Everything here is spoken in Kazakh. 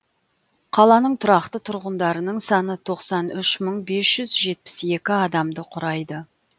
қаланың тұрақты тұрғындарының саны тоқсан үш мың бес жүз жетпіс екі адамды құрайды